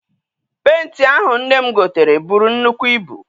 Penti ahụ nne m gotere buru nnukwu ibu.